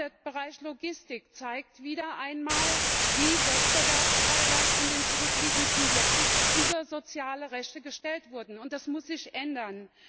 Auch der Bereich Logistik zeigt wieder einmal, wie Wettbewerbsfreiheit in den zurückliegenden Jahren über soziale Rechte gestellt wurde das muss sich ändern.